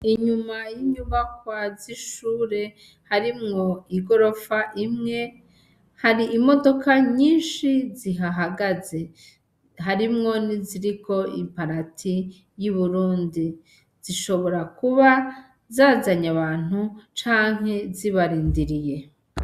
Inyuma yinyubakwa zishure harimwo igorofa imwe, hari imodoka nyinshi zihahagaze harimwo n'iziriko imparati y'uburundi zishobora kuba zazanye abantu canke zibarindiriye.